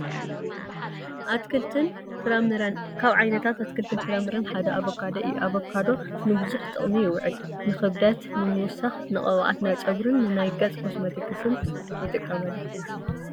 ኣትክልትን ፍራምረን፡- ካብ ዓይነታት ኣትክልትን ፍራምረን ሓደ ኣቮካዶ እዩ፡፡ ኣቮካዶ ንቡዙሕ ጥቕሚ ይውዕል፡፡ ንክብደት ንምውሳኽ፣ ንቅብኣት ናይ ፀጉሪን ንናይ ገፅ ኮስሞቲክስን ይጥቀሱ፡፡